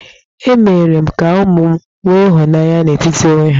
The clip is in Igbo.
Emere m ka ụmụ m nwe ịhụnanya n'etiti onwe ha.